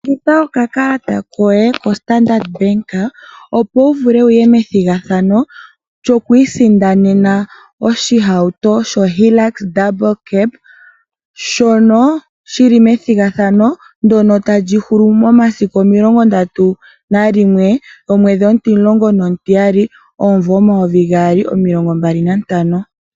Ninga okakalata koye koStandard Bank opo wu vule wu ye methigathano lyokusindana oshihauto sho Hilux shoondunda mbali, shoka shi li methigathano ndyoka ta li hulu momasiku 31 Desemba 2025.